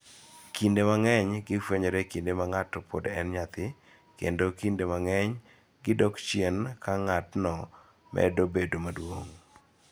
Kinde mang�eny, gifwenyore e kinde ma ng�ato pod en nyathi kendo kinde mang�eny gidok chen ka ng�atno medo bedo maduong�.